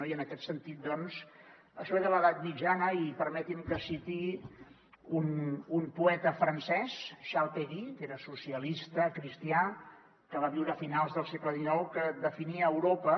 i en aquest sentit doncs això ve de l’edat mitjana i permeti’m que citi un poeta francès charles péguy que era socialista cristià que va viure a finals del segle xix que definia europa